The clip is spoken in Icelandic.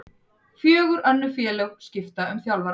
Fjögur önnur félög skipta um þjálfara